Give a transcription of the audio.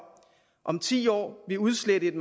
om ti år vil udslette et